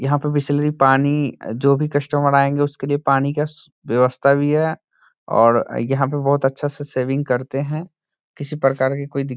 यहाँ पे बिसलेरी पानी जो भी कस्टमर आएंगे उसके लिए पानी का स व्यवस्था भी है और यहाँ पे बहोत अच्छा से सेविंग करते है किसी प्रकार का कोइ दिक् --